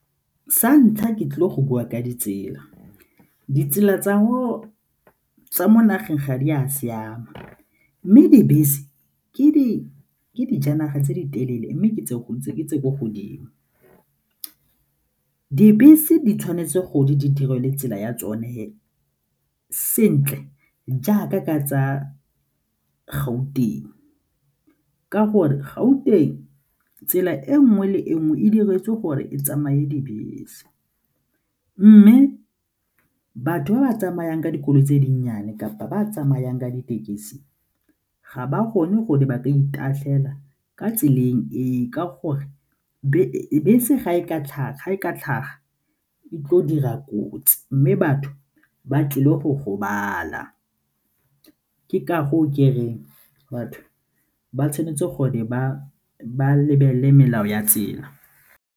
Sa ntlha, ke tlile go bua ka ditsela, ditsela tsa mo nageng ga di a siama mme dibese ke di dijanaga tse di telele mme ke tse tse ko godimo. Dibese di tshwanetse gore di direle tsela ya tsone sentle jaaka ka tsa Gauteng, ka gore Gauteng tsela e nngwe le e nngwe e diretswe gore e tsamaye dibese mme batho ba ba tsamayang ka dikoloi tse dinnyane kapa ba tsamayang ka ditekesi ga ba kgone gone ba ka itatlhela ka tseleng e ka gore bese ga e ka tlhaga e tlile go dira kotsi mme batho ba tlile go gobala ke ka go o ke reng batho ba tshwanetse gore ba lebelele melao ya tsela.